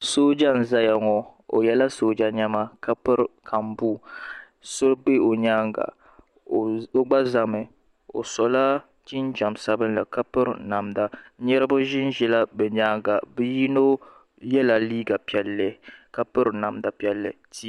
Sooja n zaya 8o yiɛla sooja nɛma ka piri kambuu so bɛ o yɛanga o gba zami o so la jinjam sabinli ka piri namda niriba zin zila bi yɛanga yino yiɛla liiga piɛlli ka piri namda piɛlli.